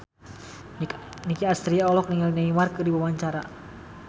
Nicky Astria olohok ningali Neymar keur diwawancara